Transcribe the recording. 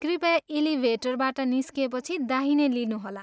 कृपया इलिभेटरबाट निस्किएपछि दाहिने लिनुहोला।